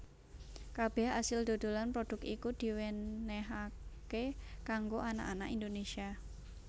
Kabeh asil dodolan prodhuk iku diwenenhaké kanggo anak anak Indonésia